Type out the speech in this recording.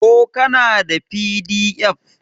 ko kana da pdf?